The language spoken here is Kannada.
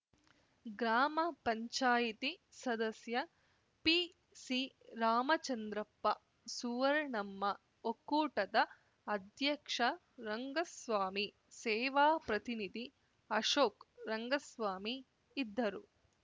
ಗ್ರಾಮ ಪಂಚಾಯತಿ ಸದಸ್ಯ ಪಿಸಿರಾಮಚಂದ್ರಪ್ಪ ಸುರ್ವಣಮ್ಮ ಒಕ್ಕೂಟದ ಅಧ್ಯಕ್ಷ ರಂಗಸ್ವಾಮಿ ಸೇವಾ ಪ್ರತಿನಿಧಿ ಅಶೋಕ್‌ ರಂಗಸ್ವಾಮಿ ಇದ್ದರು